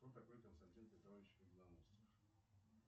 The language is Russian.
кто такой константин петрович победоносцев